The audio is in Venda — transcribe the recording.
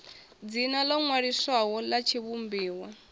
dzina ḽo ṅwaliswaho ḽa tshivhumbiwa